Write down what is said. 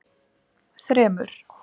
þremur